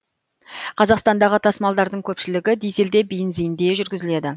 қазақстандағы тасымалдардың көпшілігі дизелде бензинде жүргізіледі